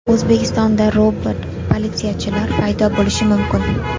O‘zbekistonda robot-politsiyachilar paydo bo‘lishi mumkin.